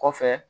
Kɔfɛ